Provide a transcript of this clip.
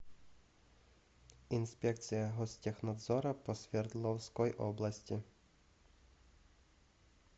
инспекция гостехнадзора по свердловской области